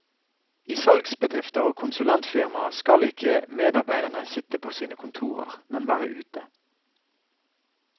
I salgsbedrifter og konsulentfirmaer skal ikke medarbeiderne sitte på sine kontorer, men være ute.